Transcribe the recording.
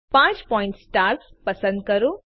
5 point star પસંદ કરો